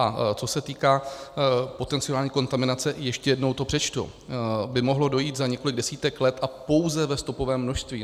A co se týká potenciální kontaminace, ještě jednou to přečtu: ... by mohlo dojít za několik desítek let a pouze ve stopovém množství.